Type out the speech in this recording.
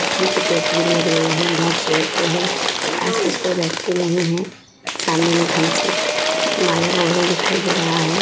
जहाँ चेयर तो है पर आस-पास कोई बैठती नहीं है। सामने में थम्स उप माज़ा का बोतल दिखाई दे रहा है।